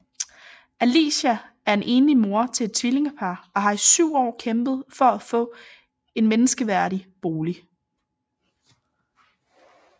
Alicia er en enlig mor til et tvillingepar og har i 7 år kæmpet for at få en menneskeværdig bolig